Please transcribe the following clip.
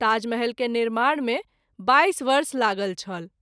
ताजमहल के निर्माण मे २२ वर्ष लागल छल।